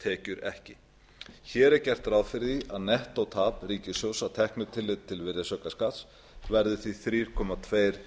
virðisaukaskattstekjur ekki hér gert ráð fyrir að nettótekjutap ríkissjóðs að teknu tilliti til virðisaukaskatts verði því þrjú komma tveir